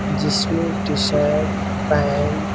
जिसमे T shirt pant --